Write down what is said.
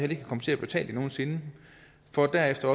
vil komme til at betale det nogen sinde for derefter